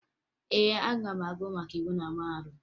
Ee, aga m agụ maka íwú na mahadum